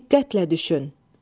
Diqqətlə düşün.